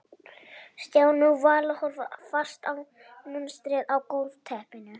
Stjáni og Vala horfðu fast á munstrið á gólfteppinu.